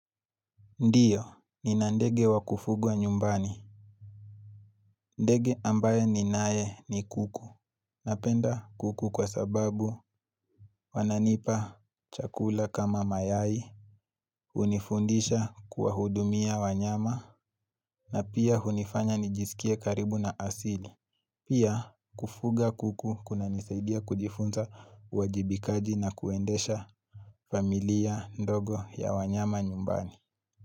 Ndiyo, nina ndege wa kufugwa nyumbani. Ndege ambaye ninaye ni kuku. Napenda kuku kwa sababu wananipa chakula kama mayai, hunifundisha kuwahudumia wanyama, na pia hunifanya nijisikie karibu na asili. Pia, kufuga kuku kunanisaidia kujifunza uajibikaji na kuendesha familia ndogo ya wanyama nyumbani.